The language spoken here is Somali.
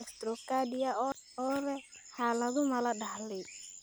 dextrocardia oo leh xaaladdu ma la dhaxlay?